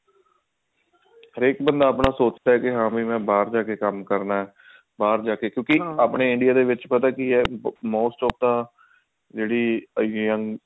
ਹਰੇਕ ਬੰਦਾ ਆਪਣਾ ਸੋਚਦਾ ਹੈ ਕੇ ਮੈਂ ਬਾਹਰ ਜਾ ਕੇ ਕੰਮ ਕਰਨਾ ਬਾਹਰ ਜਾ ਕੇ ਆਪਣੇ India ਦੇ ਵਿੱਚ ਪਤਾ ਕੀ ਹੈ most of the ਜਿਹੜੀ young